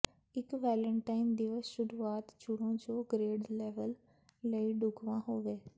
ਇਕ ਵੈਲੇਨਟਾਈਨ ਦਿਵਸ ਸ਼ੁਰੁਆਤ ਚੁਣੋ ਜੋ ਗ੍ਰੇਡ ਲੈਵਲ ਲਈ ਢੁਕਵਾਂ ਹੋਵੇ